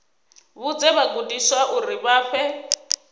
vhudze vhagudiswa uri vha fhe